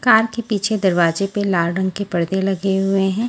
कान के पीछे दरवाज़े पे लाल रंग के परदे लगे हुए है।